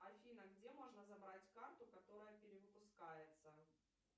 афина где можно забрать карту которая перевыпускается